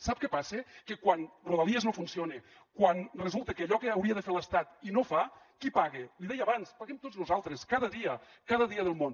sap què passa que quan rodalies no funciona quan resulta que allò que hauria de fer l’estat i no fa qui paga l’hi deia abans paguem tots nosaltres cada dia cada dia del món